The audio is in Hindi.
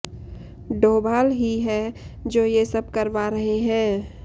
डोभाल ही हैं जो ये सब करवा रहे हैं